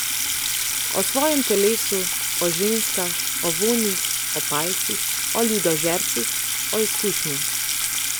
O svojem telesu, o ženskah, o vonjih, o palcih, o ljudožercih, o izkušnji ...